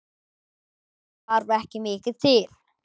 Það þarf ekki mikið til?